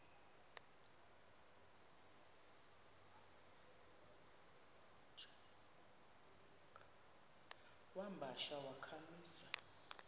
wamba tsha wakhamisa